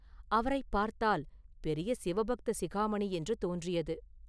அவரைப் பார்த்தால் பெரிய சிவபக்த சிகாமணி என்று தோன்றியது.